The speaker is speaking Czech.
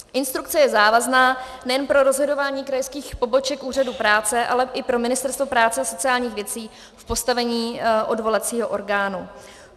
Instrukce je závazná nejen pro rozhodování krajských poboček úřadu práce, ale i pro Ministerstvo práce a sociálních věcí v postavení odvolacího orgánu.